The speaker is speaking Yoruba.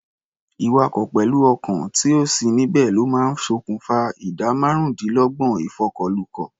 Ìwakọ̀ pẹ̀lú ọkàn tí ò sí níbẹ̀ ló máa ń ṣòkùfa ìdá márùndínlọ́gbọ̀n ìfọkọ̀lukọ̀.